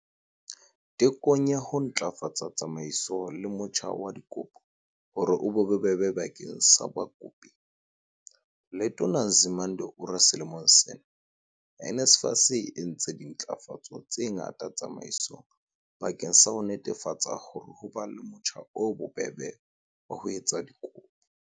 Tekong ya ho ntlafatsa tsamaiso le motjha wa dikopo hore o be bobebe bakeng sa bakopi, Letona Nzimande o re selemong sena, NSFAS e entse ntlafatso tse ngata tsamaisong bakeng sa ho netefatsa hore ho ba le motjha o bobebe wa ho etsa dikopo.